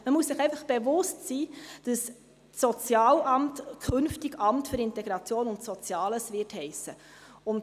Man muss sich einfach bewusst sein, dass das Sozialamt künftig Amt für Integration und Soziales heissen wird.